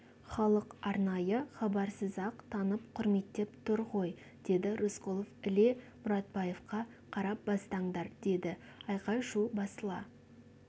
халық арнайы хабарсыз-ақ танып құрметтеп тұр ғой деді рысқұлов іле мұратбаевқа қарап бастаңдар деді айқай-шу басыла